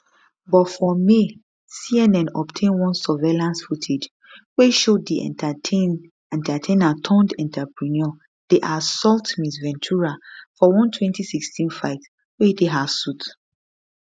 but for may cnn obtain one surveillance footage wey show di entertainerturnedentrepreneur dey assault ms ventura for one 2016 fight wey dey her suit